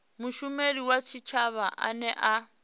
mushumeli wa tshitshavha ane a